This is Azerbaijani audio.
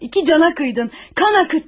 İki cana kıydın, kan akıttın.